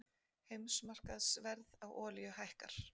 Heimsmarkaðsverð á olíu hækkar